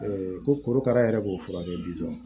korokara yɛrɛ b'o furakɛ